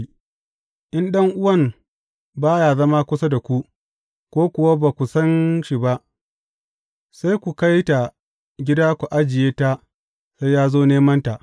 In ɗan’uwan ba ya zama kusa da ku, ko kuwa ba ku san shi ba, sai ku kai ta gida ku ajiye ta sai ya zo nemanta.